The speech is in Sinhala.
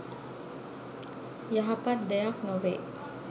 යහපත් දෙයක් නොවෙයි.